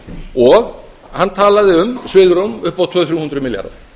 og hann talaði um svigrúm upp á tvö hundruð til þrjú hundruð milljarða